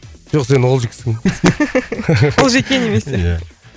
жоқ сен олжиксің олжеке немесе ия